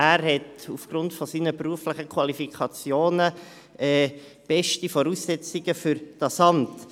Er hat aufgrund seiner beruflichen Qualifikationen beste Voraussetzungen für dieses Amt.